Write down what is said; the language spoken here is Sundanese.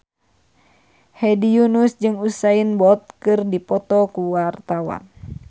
Hedi Yunus jeung Usain Bolt keur dipoto ku wartawan